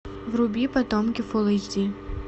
вруби потомки фулл эйч ди